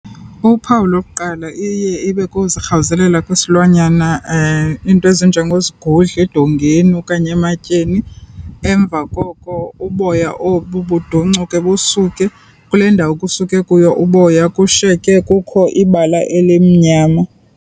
Uphawu lokuqala iye ibe kuzirhawuzelela kwesilwanyana iinto ezinjengozigudla edongeni okanye ematyeni, emva koko uboya obu budoncuke busuke, kule ndawo kusuke kuyo uboya kushiyeke kukho ibala elimnyama.